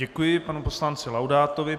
Děkuji panu poslanci Laudátovi.